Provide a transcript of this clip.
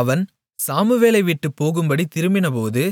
அவன் சாமுவேலைவிட்டுப் போகும்படி திரும்பினபோது